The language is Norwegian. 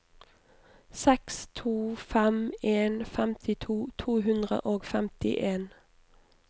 seks to fem en femtito to hundre og femtien